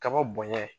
Kaba bonya